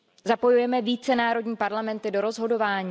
Zapojujeme více národní parlamenty do rozhodování?